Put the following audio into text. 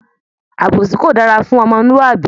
Àbòsí kò dára fún omolúàbí